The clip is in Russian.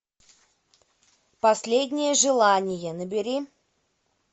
последнее желание набери